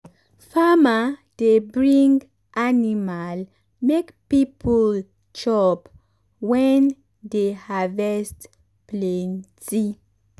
farmer dey bring animal make people chop when dey harvest plenty.